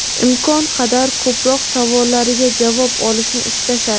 imkon qadar ko‘proq savollariga javob olishni istashadi.